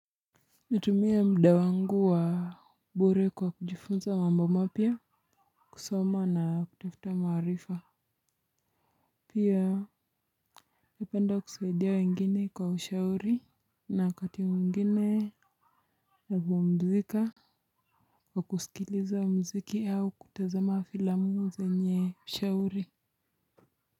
Natumia mda wangu wa bore kwa kujifunza mamboma pia kusoma na kutafuta maharifa pia napenda kusaidia wengine kwa ushauri na wakati mwingine hupumzika kwa kusikiliza muziki ama kutazama filamu zenye ushauri.